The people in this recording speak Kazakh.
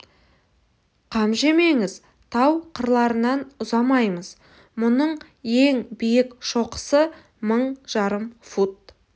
қам жемеңіз тау қырқаларынан ұзамаймыз мұның ең биік шоқысы мың жарым фут